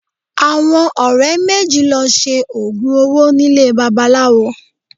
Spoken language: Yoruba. Àwọn ọ̀rẹ́ méjì lọ Se oògùn owó nílé babaláwo